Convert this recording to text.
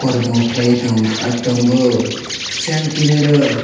kormo khlai tong aro tongo seng kinaro.